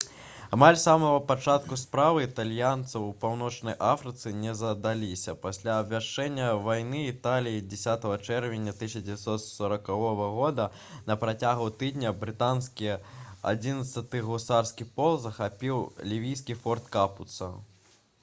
амаль з самага пачатку справы італьянцаў у паўночнай афрыцы не задаліся пасля абвяшчэння вайны італіяй 10 чэрвеня 1940 года на працягу тыдня брытанскі 11-ы гусарскі полк захапіў лівійскі форт капуца